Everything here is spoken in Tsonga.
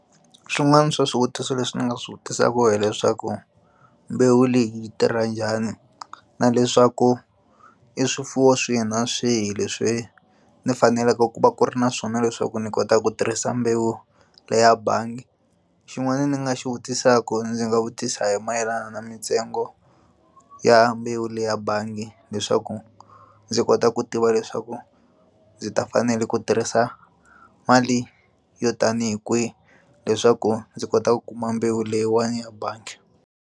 Swin'wana swa swivutiso leswi ndzi nga swi vutisaka hileswaku mbewu leyi yi tirha njhani na leswaku i swifuwo swihi na swihi leswi ndzi faneleke ku va ku ri na swona leswaku ni kota ku tirhisa mbewu leya bangi xin'wana ni nga xi vutisaka ndzi nga vutisa hi mayelana na mitsengo ya mbewu leya bangi leswaku ndzi kota ku tiva leswaku ndzi ta fanela ku tirhisa mali yo tanihi kwihi leswaku ndzi kota ku kuma mbewu leyiwani ya bangi.